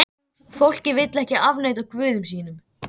Fólkið vill ekki afneita guðum sínum.